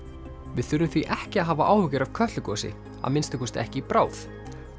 við þurfum því ekki að hafa áhyggjur af Kötlugosi að minnsta kosti ekki í bráð